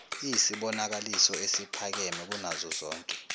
iyisibonakaliso esiphakeme kunazozonke